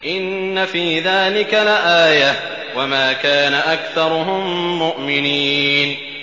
إِنَّ فِي ذَٰلِكَ لَآيَةً ۖ وَمَا كَانَ أَكْثَرُهُم مُّؤْمِنِينَ